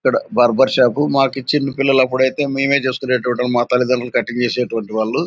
ఇక్కడ barber shop మాకు చిన్న పిల్లలపుడు ఐతే మేమే చేస్కునేవాళ్ళము మా తల్లి తండ్రులు కటింగ్ చేసేటోల్లు వాళ్ళు.